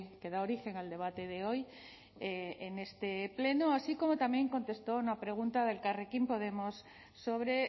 que da origen al debate de hoy en este pleno así como también contestó una pregunta de elkarrekin podemos sobre